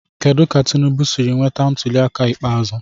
Kedu ka Tinubu siri nweta ntuliaka ikpeazụ.